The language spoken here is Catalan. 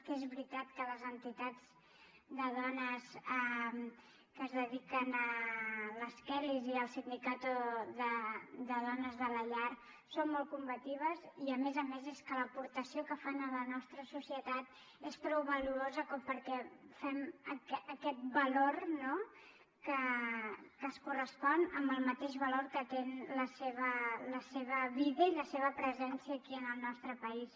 que és veritat que les entitats de dones que es dediquen a les kellys i el sindicato de dones de la llar són molt combatius i a més a més és que l’aportació que fan a la nostra societat és prou valuosa com perquè fem aquest valor no que es correspon amb el mateix valor que tenen la seva vida i la seva presència aquí en el nostre país